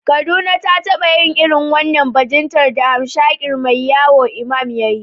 Kaduna ta taba yin irin wannan bajintar da hamshakin mai wayo Imam ya yi.